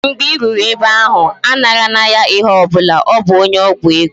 Mgbe I ruru ebe ahụ, anara na ya ihe ọbụla, ọ bụ onye ọgwụ ego